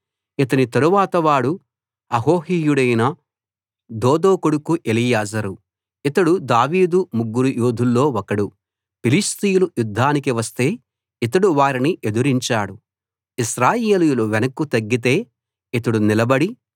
ఇతని తరువాతి వాడు అహోహీయుడైన దోదో కొడుకు ఎలియాజరు ఇతడు దావీదు ముగ్గురు యోధుల్లో ఒకడు ఫిలిష్తీయులు యుద్ధానికి వస్తే ఇతడు వారిని ఎదిరించాడు ఇశ్రాయేలీయులు వెనక్కు తగ్గితే ఇతడు నిలబడి